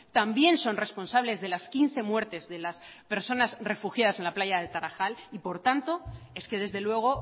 también son responsable de las quince muertes de las personas refugiadas en la playa de tarajal y por tanto es que desde luego